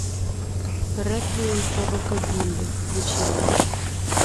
реквием по рокабилли включи мне